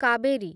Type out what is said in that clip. Kaveri